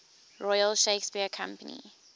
royal shakespeare company